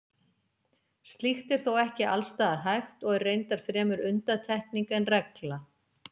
Slíkt er þó ekki alls staðar hægt og er reyndar fremur undantekning en regla.